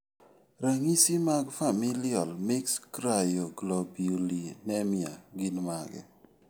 Ranyisi mag Familial mixed cryoglobulinemia gin mage?